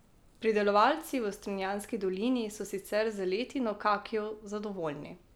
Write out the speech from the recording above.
Pridelovalci v strunjanski dolini so sicer z letino kakijev zadovoljni.